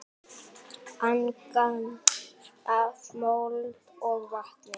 Angan af mold og vatni.